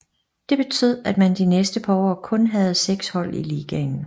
Det betød at man de næste par år kun havde 6 hold i ligaen